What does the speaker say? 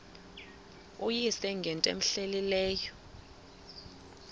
uyise ngento cmehleleyo